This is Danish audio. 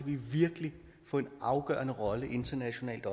vi virkelig få en afgørende rolle internationalt